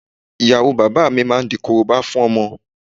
Ìyàwó bàbá mi máa di Korobá fún ọmọ